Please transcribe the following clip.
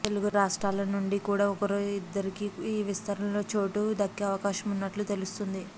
తెలుగు రాష్ట్రాల నుంచి కూడా ఒకరిద్దరికి ఈ విస్తరణలో చోటు దక్కే అవకాశం ఉన్నట్లు తెలుస్తోంది